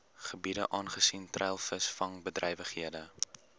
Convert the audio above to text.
gebiede aangesien treilvisvangbedrywighede